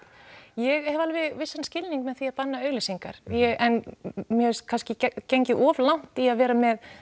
ég hef alveg vissan skilning með því að banna auglýsingar en mér finnst kannski gengið of langt í að vera með